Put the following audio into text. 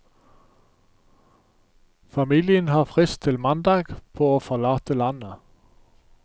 Familien har frist til mandag på å forlate landet.